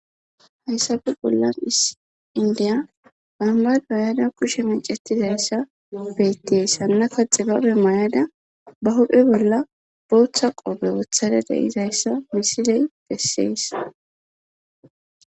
Hayssafe bollan isis indiya bombafe yada kushe macetizayssa beetties hannaka xibabe mayada ba huphphe bolla booththa qoofe woththada de'izayssa misiley bessees